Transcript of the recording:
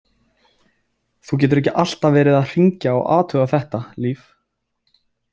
Þú getur ekki alltaf verið að hringja og athuga þetta, Líf.